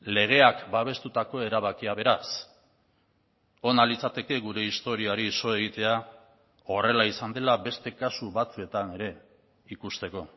legeak babestutako erabakia beraz ona litzateke gure historiari so egitea horrela izan dela beste kasu batzuetan ere ikusteko